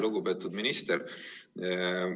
Lugupeetud minister!